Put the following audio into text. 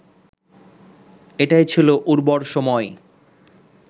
এটাই ছিল উর্বর সময়